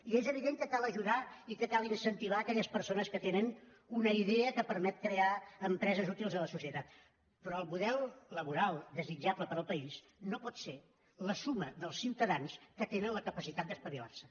i és evident que cal ajudar i que cal incentivar aquelles persones que tenen una idea que permet crear empreses útils a la societat però el model laboral desitjable per al país no pot ser la suma dels ciutadans que tenen la capacitat d’espavilar se